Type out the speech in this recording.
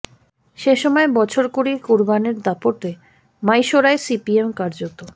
সে সময় বছর কুড়ির কুরবানের দাপটে মাইশোরায় সিপিএম কার্যত